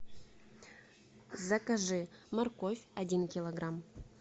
закажи морковь один килограмм